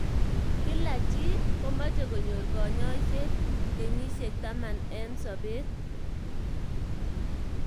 kila chi komeche konyor kanyoiset kenyisek taman eng sabet.